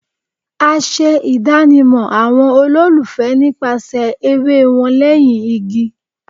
A ṣe idanimọ awọn ololufẹ nipasẹ ere wan lẹhin igi